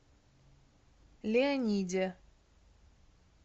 леониде